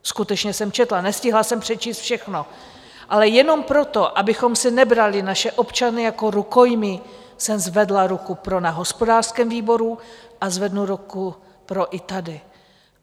Skutečně jsem četla, nestihla jsem přečíst všechno, ale jenom proto, abychom si nebrali naše občany jako rukojmí, jsem zvedla ruku pro na hospodářském výboru a zvednu ruku pro i tady.